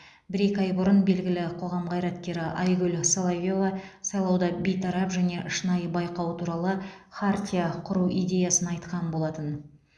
бір екі ай бұрын белгілі қоғам қайраткері айгүл соловьева сайлауда бейтарап және шынайы байқау туралы хартия құру идеясын айтқан болатын